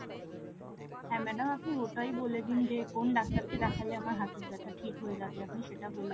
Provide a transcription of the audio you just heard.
হ্যাঁ madam আপনি ওটাই বলে দিন যে কোন ডাক্তার কে দেখলে আমার হাঁটুর ব্যাথা ঠিক হয়ে যাবে আপনি সেটা বলে দিন